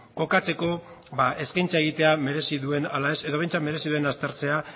kokatzeko eskaintza egitea merezi duen ala ez edo behintzat merezi duen aztertzea